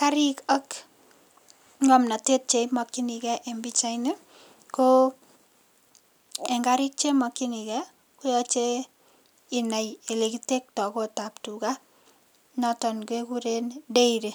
Karik ak ng'omnotet chemakchinigei en pichait ni ko eng karik chemakchinigei koyochei inai olekitektoi koot ap tuga noton keguren dairy.